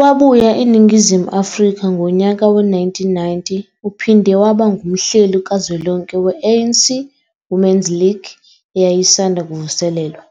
Wabuya eNingizimu Afrika ngonyaka we-1990 uphinde waba ngumhleli kazwelonke we-ANC Women's League eyayisanda kuvuselelwa,